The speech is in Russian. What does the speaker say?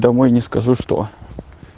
домой не скажу что